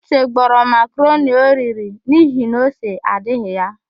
Uche gbọrọ makaroni oriri n'ihi na ose adịghị ya.